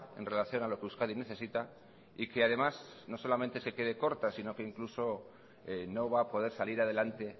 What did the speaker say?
en relación a lo que euskadi necesita y que además no solamente es que quede corta sino que incluso no va a poder salir adelante